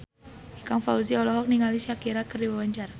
Ikang Fawzi olohok ningali Shakira keur diwawancara